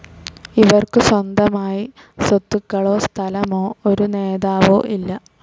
ഇവർക്കു സ്വന്തമായി സ്വത്തുകാലോ സ്ഥലമോ, ഒരു നേതാവോ ഇല്ല